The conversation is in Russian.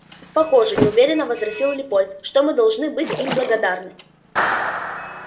похоже неуверенно возразил лепольд что мы должны быть им благодарны